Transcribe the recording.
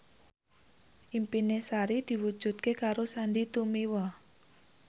impine Sari diwujudke karo Sandy Tumiwa